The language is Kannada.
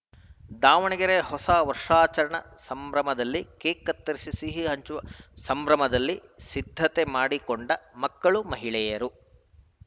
ದಾವಣಗೆರೆ ಹೊಸ ವರ್ಷಾಚರಣೆ ಸಂಭ್ರಮದಲ್ಲಿ ಕೇಕ್‌ ಕತ್ತರಿಸಿ ಸಿಹಿ ಹಂಚುವ ಸಂಭ್ರಮದಲ್ಲಿ ಸಿದ್ಧತೆ ಮಾಡಿಕೊಂಡ ಮಕ್ಕಳು ಮಹಿಳೆಯರು